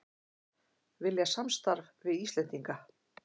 Vilja samstarf við Íslendinga